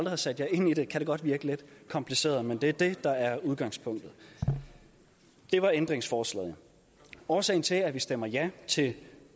har sat jer ind i det kan det godt virke lidt kompliceret men det er det der er udgangspunktet det var ændringsforslaget årsagen til at vi stemmer ja til